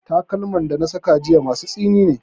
Takalman da na saka jiya masu tsini ne.